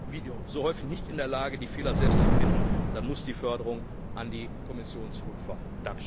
sie, wie so häufig, nicht in der Lage, die Fehler selbst zu finden, dann muss die Förderung an die Kommission zurückfallen.